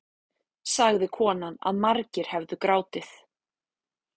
Sagði konan að margir hefðu grátið